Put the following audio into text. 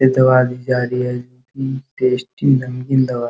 इ तो गाड़ी जा रही है इ टेस्टी रंगीन दवा --